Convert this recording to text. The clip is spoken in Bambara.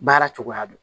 Baara cogoya dɔn